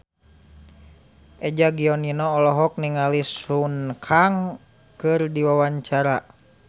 Eza Gionino olohok ningali Sun Kang keur diwawancara